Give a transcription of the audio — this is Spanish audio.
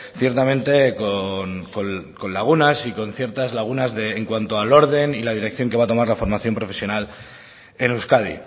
ciertamente con lagunas y con ciertas lagunas en cuanto al orden y la dirección que va a tomar la formación profesional en euskadi